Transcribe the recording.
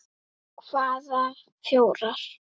Hvaða fjórar?